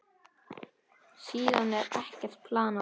Síðan er ekkert planað.